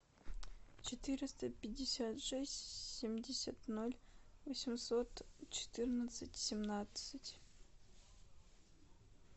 четыреста пятьдесят шесть семьдесят ноль восемьсот четырнадцать семнадцать